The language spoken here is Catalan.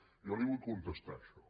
jo li vull contestar a això